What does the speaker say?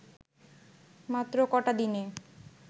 মাত্র ক’টা দিনে